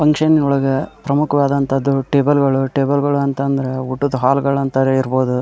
Function ಒಳಗ್ ಪ್ರಮುಖವಾದಂತದ್ದು table ಗಳು ಟೇಬಲ್ ಗಳು ಅಂತ ಅಂದ್ರೆ ಊಟದ್ ಹಾಲ್ ಗಳ್ ಅಂತನೆ ಇರಬಹುದು.